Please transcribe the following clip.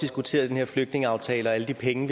en